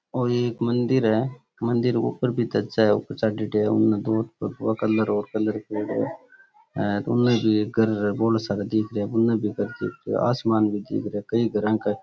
ओ एक मंदिर है मंदिर के ऊपर आसामन भी दिख रो है कई घर के --